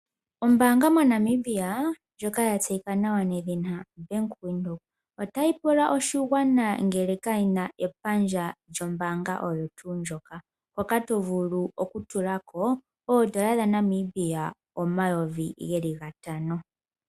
Ombanga moNamibia ndjoka yatseyika nawa ombanga yaVenduka otayi pula oshigwana ngele kayina epandja lyombaanga oho tuu ndjoka ndjoka tovulu okutulako oondola dhaNamibia omayovi gatano.